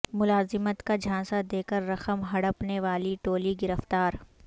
ملازمت کا جھانسہ دے کر رقم ہڑپنے والی ٹولی گرفتار